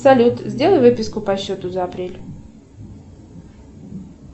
салют сделай выписку по счету за апрель